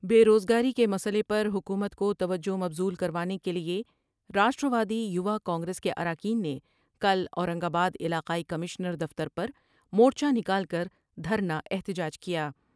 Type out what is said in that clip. بے روز گاری کے مسئلے پر حکومت کو توجہ مبذول کر وانے کے لیے راشٹر وادی یوا کانگریس کے اراکین نے کل اورنگ آباد علاقائی کمشنر دفتر پر مور چہ نکال کر دھر نا احتجاج کیا ۔